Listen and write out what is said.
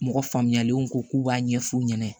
Mɔgɔ faamuyalenw ko k'u b'a ɲɛfu ɲɛna